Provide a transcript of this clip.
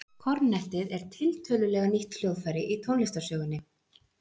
Kornettið er tiltölulega nýtt hljóðfæri í tónlistarsögunni.